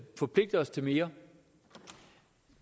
forpligte os til mere